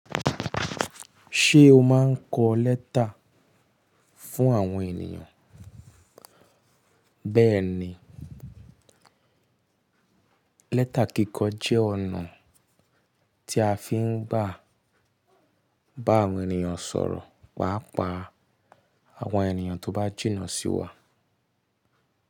Ṣé o máa ń kọ lẹ́tà fún àwọn ènìyàn? Béẹ̀ni, lẹ́tà kíkọ jẹ́ ọ̀nà tí a fi ń gbá, bá àwọn ènìyàn sọ̀rọ̀ pàá pa àwọn ènìyàn tó bá jìnnà sí wa.